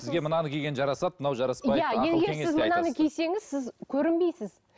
сізге мынаны киген жарасады мынау жараспайды иә егер сіз мынаны кисеңіз сіз көрінбейсіз